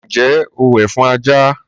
Ǹjẹ́ o wẹ̀ fún ajá?